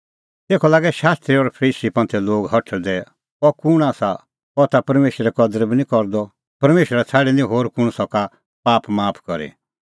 तेखअ लागै शास्त्री और फरीसी हठल़दै अह कुंण आसा अह ता परमेशरे कदर बी निं करदअ परमेशरा छ़ाडी होर कुंण सका पाप माफ करी